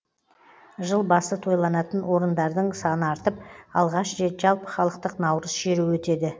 жыл басы тойланатын орындардың саны артып алғаш рет жалпыхалықтық наурыз шеруі өтеді